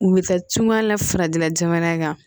U bɛ taa cogoya la farajɛla jamana in kan